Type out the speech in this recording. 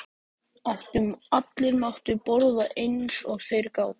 Allir máttu borða eins og þeir gátu.